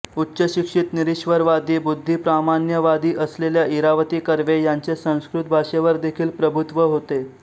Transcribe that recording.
उच्चशिक्षित निरीश्वरवादी बुद्धिप्रामाण्यवादी असलेल्या इरावती कर्वे यांचे संस्कृत भाषेवर देखील प्रभुत्त्व होते